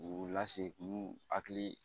K'u lase k'u hakili